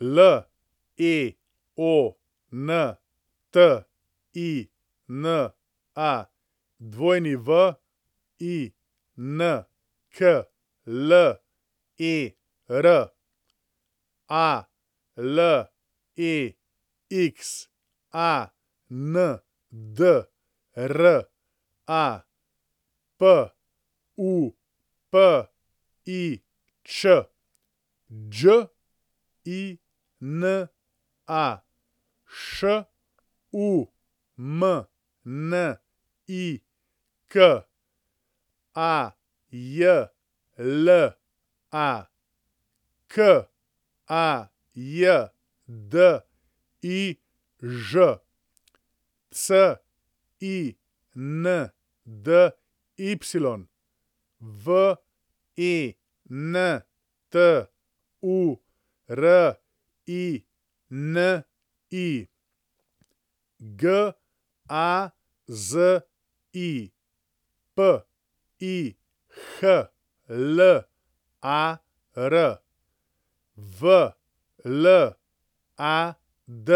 Leontina Winkler, Alexandra Pupič, Đina Šumnik, Ajla Kajdiž, Cindy Venturini, Gazi Pihlar, Vlad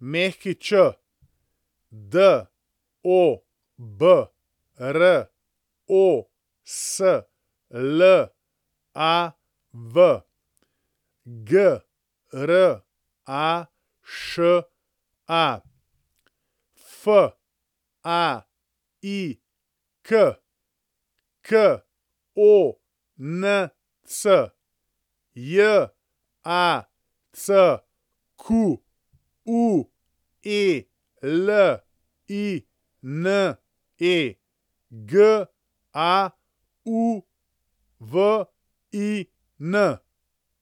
Mikerević, Dobroslav Graša, Faik Konc, Jacqueline Gauvin.